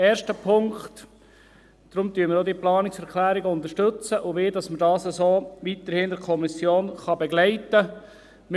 Erstens: Deshalb unter stützen wir diese Planungserklärungen auch und wollen, dass man dies so weiterhin in der Kommission begleiten kann.